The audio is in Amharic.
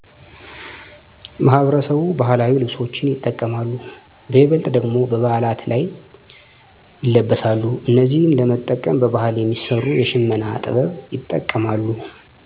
ማህበረሰቡ ባህላዊ ልብሶችን ይጠቀማሉ በይበልጥ ደግሞ በበዓላት ይለበሳሉ እነዚህን ለመጠቀም በባህል የሚሰሩ የሽመና ጥበብ ይጠቀማሉ